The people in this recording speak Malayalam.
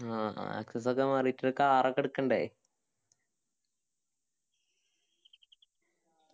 ആ access ഒക്കെ മാറിറ്റ് ഒരു car ക്കെ എടുക്കണ്ടേ